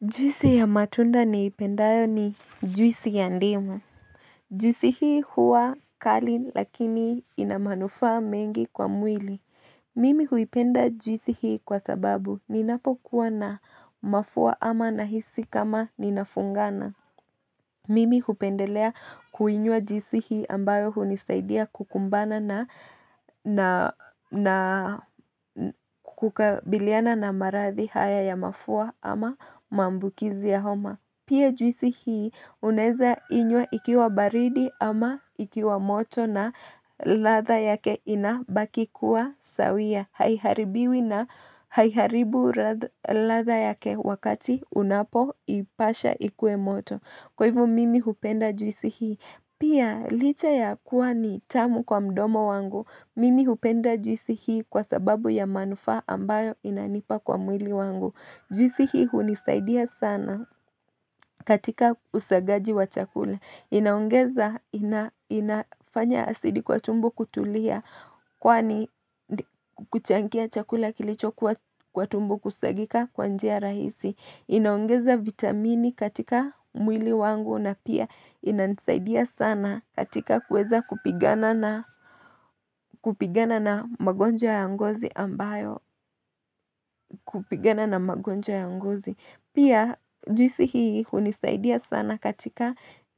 Juisi ya matunda niipendayo ni juisi ya ndimu. Juisi hii huwa kali lakini ina manufaa mengi kwa mwili. Mimi huipenda juisi hii kwa sababu ninapo kuwa na mafua ama nahisi kama ninafungana. Mimi hupendelea kuinywa juisi hii ambayo hunisaidia kukumbana na na kukabiliana na marathi haya ya mafua ama mambukizi ya homa. Pia juisi hii unaweza inywa ikiwa baridi ama ikiwa moto na ratha yake inabaki kuwa sawia. Haiharibiwi na haiharibu latha yake wakati unapo ipasha ikue moto. Kwa hivo mimi hupenda juisi hii. Pia licha ya kuwa ni tamu kwa mdomo wangu. Mimi hupenda juisi hii kwa sababu ya manufaa ambayo inanipa kwa mwili wangu. Juisi hii hunisaidia sana katika usagaji wa chakula. Inaongeza, inafanya asidi kwa tumbu kutulia kwa ni kuchangia chakula kilicho kwa tumbu kusagika kwanjia rahisi Inaongeza vitamini katika mwili wangu na pia ina nisaidia sana katika kuweza kupigana na kupigana na magonjwa ya ngozi ambayo kupigana na magonjwa ya nguzi, Pia juisi hii hunisaidia sana katika